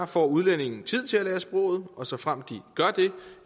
får udlændinge tid til at lære sproget og såfremt de gør